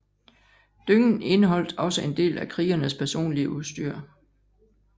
Dyngen indeholdt også en del af krigernes personlige udstyr